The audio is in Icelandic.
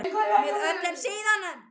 Með öllum síðunum?